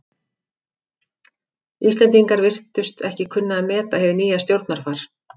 Íslendingar virtust ekki kunna að meta hið nýja stjórnarfar.